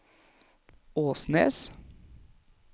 Åsnes